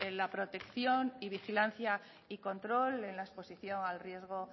la protección y vigilancia y control en la exposición al riesgo